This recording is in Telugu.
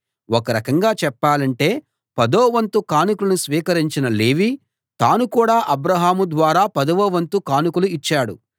ఒక రకంగా చెప్పాలంటే పదోవంతు కానుకలను స్వీకరించిన లేవీ తాను కూడా అబ్రాహాము ద్వారా పదవ వంతు కానుకలు ఇచ్చాడు